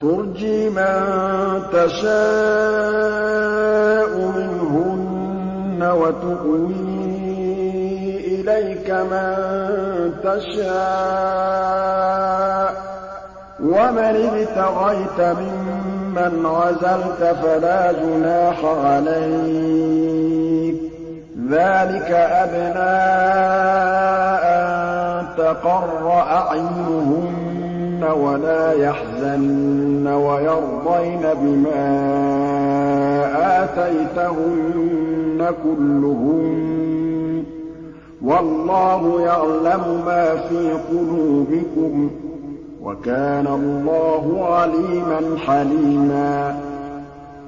۞ تُرْجِي مَن تَشَاءُ مِنْهُنَّ وَتُؤْوِي إِلَيْكَ مَن تَشَاءُ ۖ وَمَنِ ابْتَغَيْتَ مِمَّنْ عَزَلْتَ فَلَا جُنَاحَ عَلَيْكَ ۚ ذَٰلِكَ أَدْنَىٰ أَن تَقَرَّ أَعْيُنُهُنَّ وَلَا يَحْزَنَّ وَيَرْضَيْنَ بِمَا آتَيْتَهُنَّ كُلُّهُنَّ ۚ وَاللَّهُ يَعْلَمُ مَا فِي قُلُوبِكُمْ ۚ وَكَانَ اللَّهُ عَلِيمًا حَلِيمًا